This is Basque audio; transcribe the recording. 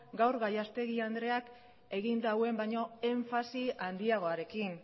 gaur gallastegui andreak egin duen baino enfasi handiagoarekin